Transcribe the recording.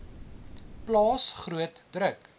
plaas groot druk